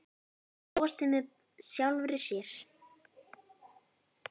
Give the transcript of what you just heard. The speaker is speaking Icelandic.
Hún brosir með sjálfri sér.